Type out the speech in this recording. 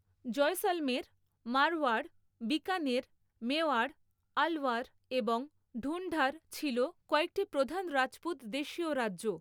জয়সলমের, মারওয়াড়, বিকানের, মেওয়াড়, আলওয়ার এবং ঢুন্ঢাড় ছিল কয়েকটি প্রধান রাজপুত দেশীয় রাজ্য।